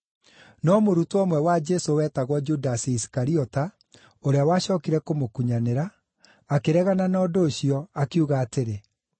No mũrutwo ũmwe wa Jesũ wetagwo Judasi Isikariota, ũrĩa wacookire kũmũkunyanĩra, akĩregana na ũndũ ũcio, akiuga atĩrĩ,